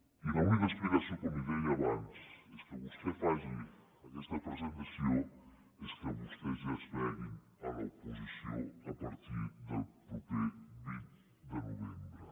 i l’única explicació com li deia abans perquè vostè faci aquesta presentació és que vostès ja es vegin a l’oposició a partir del proper vint de novembre